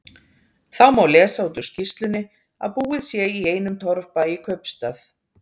Þá má lesa út úr skýrslunni að búið sé í einum torfbæ í kaupstað.